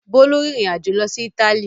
Bólú rìnrìn-àjò lọ sí Ítálì?